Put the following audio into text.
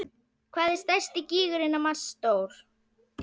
Hvað er stærsti gígurinn á Mars stór?